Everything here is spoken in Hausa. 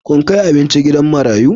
Kun kai abinci gidan marayu?